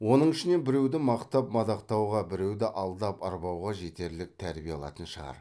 оның ішінен біреуді мақтап мадақтауға біреуді алдап арбауға жетерлік тәрбие алатын шығар